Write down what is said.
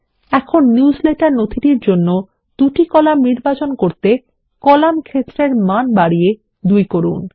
এখন নিউজলেটার নথিটির জন্য ২ কলাম নির্বাচন করতে কলাম ক্ষেত্রের মান বাড়িয়ে ২ করুন